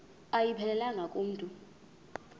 ayiphelelanga ku mntu